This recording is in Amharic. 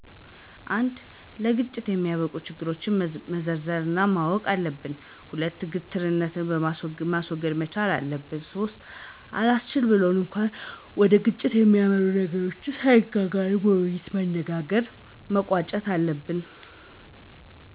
፩) ለግጭት ያበቁንን ችግሮች ዘርዝረን ማወቅ አለብን። ፪) ግትርነታችንን ማስወገድ መቻል አለብን። ፫) አላስችል ብሎ እንኳ ወደ ግጭት የሚያመሩ ቢሆኑ ነገሮች ሳይጋነኑ በውይይት በመነጋገር መቋጨት መቻል አለብን።